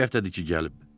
İki həftədir ki gəlib.